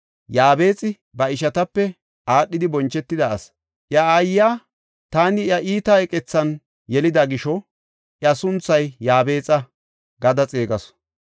Yaabexi ba ishatape aadhidi bonchetida asi. Iya aayiya, “Taani iya iita iqethan yelida gisho, iya sunthay Yaabexa” gada xeegasu.